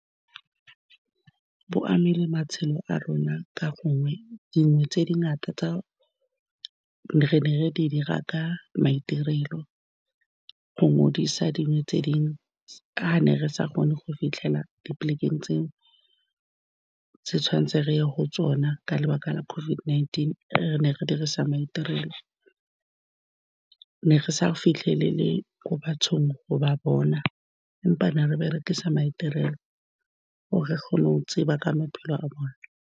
Bo amile matshelo a rona ka gongwe dingwe tse dingata tsa re ne re di dira ka maitirelo go ngodise dingwe tse . Fa ne re sa kgone go fitlhela di polekeng tseo tse tshwanetseng re ye go tsona, ka lebaka la COVID-19, re ne re dirisa maitirelo, ne re sa fitlhelele ko bathong go ba bona, empa ne re berekisa maitirelo gore re kgone go tseba ka maphelo a bone.